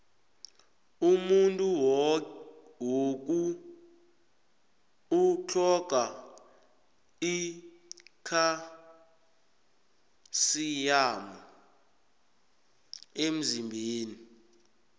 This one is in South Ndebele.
umuntu woku utlhoga ikhalsiyamu emzimbeni